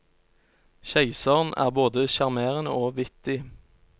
Keiseren er både sjarmerende og vittig.